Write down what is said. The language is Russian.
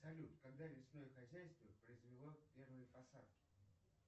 салют когда лесное хозяйство произвело первые посадки